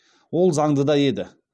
ол заңды да еді